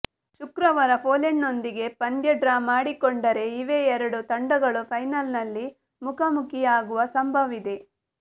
ಶುಕ್ರವಾರ ಪೊಲೆಂಡ್ನೊಂದಿಗೆ ಪಂದ್ಯ ಡ್ರಾ ಮಾಡಿಕೊಂಡರೆ ಇವೇ ಎರಡು ತಂಡಗಳು ಫೈನಲ್ನಲ್ಲಿ ಮುಖಾಮುಖಿಯಾಗುವ ಸಂಭವವಿದೆ